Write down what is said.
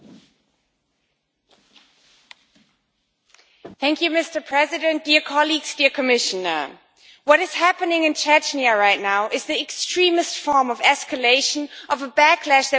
Mr President, dear colleagues, dear Commissioner, what is happening in Chechnya right now is the extremest form of escalation of a backlash that we are actually seeing all over Europe and all over the world right now.